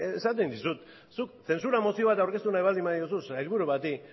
esaten dizut zuk zentsura mozioa eta aurkeztu nahi baldin badiozu sailburu